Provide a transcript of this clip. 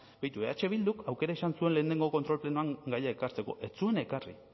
beitu eh bilduk aukera izan zuen lehenengo kontrol plenoan gaia ekartzeko ez zuen ekarri